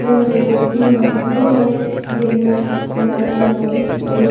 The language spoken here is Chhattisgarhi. रंग रंग के फूल ह खिले हवय जेन म लाल गुलाबी अउ--